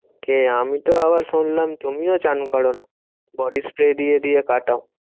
কে? আমি আবার শুনলাম তুমিও চান করোনা। body spray দিয়ে দিয়ে কাটাও।